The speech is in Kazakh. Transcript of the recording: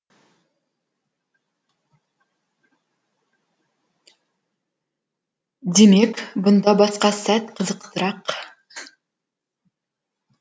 демек бұнда басқа сәт қызықтырақ